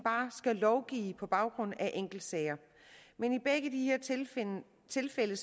skal lovgive på baggrund af enkeltsager men i begge de her tilfælde